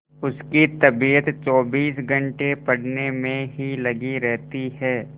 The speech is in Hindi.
उसकी तबीयत चौबीस घंटे पढ़ने में ही लगी रहती है